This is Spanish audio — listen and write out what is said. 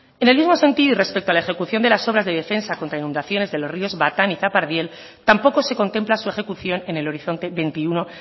en el mismo sentido y respecto a la ejecución de las obras de defensa contra inundaciones de los ríos batán y zapardiel tampoco se contempla su ejecución en el horizonte veintiuno